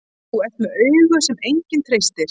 Þú ert með augu sem enginn treystir.